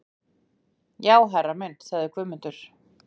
Já herra minn, sagði Guðmundur.